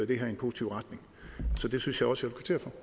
det her i en positiv retning så det synes jeg også